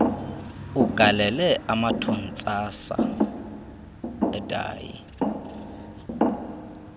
ugalele amathontsasa edayi